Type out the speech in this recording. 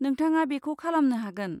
नोंथाङा बेखौ खालामनो हागोन।